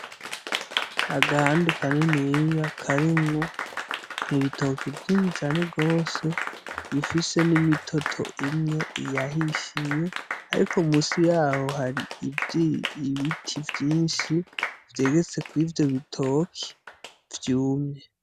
Agahandi kaniniya karimwo ibitoke vyinshi cane gose bifise nimitoto imwe yahishiye ariko munsi yaho hari ibiti vyinshi vyegetse kurivyo bitoke vyumye.